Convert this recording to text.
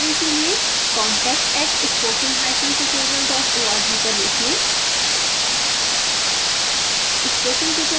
अधिक जानकारी के लिए contact @spokentutorialorg पर लिखें